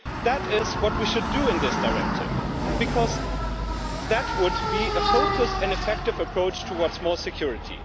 That is what we should do in this directive, because that would be a focused and effective approach towards more security.